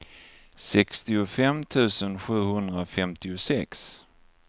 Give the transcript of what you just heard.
sextiofem tusen sjuhundrafemtiosex